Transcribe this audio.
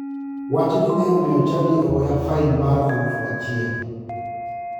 Wachni ne omiyo chadi ogoya fain mar aluf achiel.